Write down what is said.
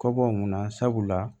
Kɔ bɔ mun na sabula